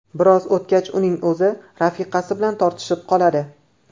Biroz o‘tgach uning o‘zi rafiqasi bilan tortishib qoladi.